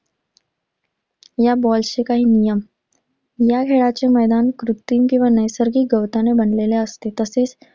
या ball चे काही नियम. या खेळाचे मैदान कृत्रिम किंवा नैसर्गिक गवताने बनलेले असते.